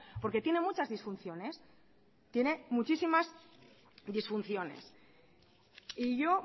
porque tiene muchas disfunciones tiene muchísimas disfunciones y yo